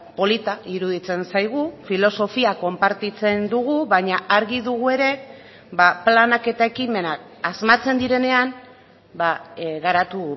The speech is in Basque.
polita iruditzen zaigu filosofia konpartitzen dugu baina argi dugu ere planak eta ekimenak asmatzen direnean garatu